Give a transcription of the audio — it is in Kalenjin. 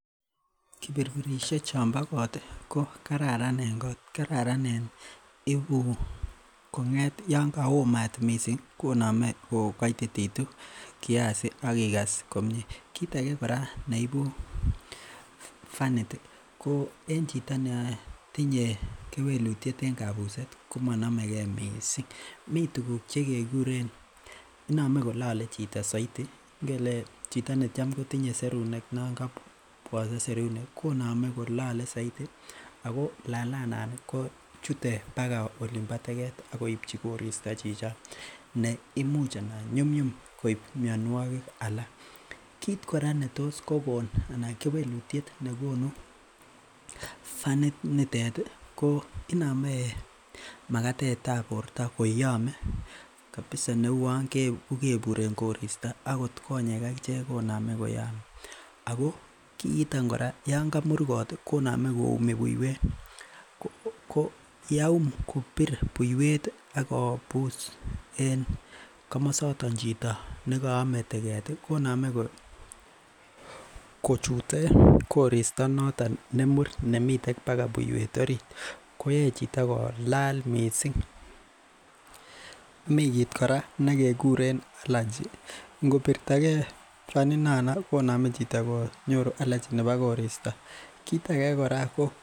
Kipirpiresiek chon bo kot ko kararan en kot. I u yaan kaomat koname ko kaitititu kiac akokase komie kit age kora neibu fanit en chito neyae kewelutie neibuse komanamehe missing. Miten tuguk chekekuren , iname kolele chito saiti , chito netam kotinye serunek koname chito kolele saiti Ako lalet non ko chutet akoi olimba teget akoichi korista chichon neimuch anan nyumnyum koib mianuakig alak , kit kora netos kogonu anan kewelutiet nekonu ko iname magatetab borta koyame kabisa kouni kukebur en koristaakot ko ye akichet koname koyamealo kiiton kora yaan kamur kot koname koumi buiwet, ko yaum buiwet akobus en kamasotet chito nekaame teget ih koname chochute koristo noton nemur nimiten baga buiwet orit koyae chitoko Laal missing, mikit kora nekekuren alergy kobitage fanit koname konyoru chito alergy